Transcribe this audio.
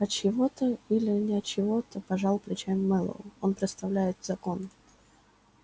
от чьего-то или не от чьего-то пожал плечами мэллоу он представляет закон